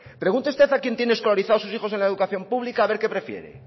pregunte usted a quienes tienen escolarizados sus hijos en la educación pública a ver qué prefiere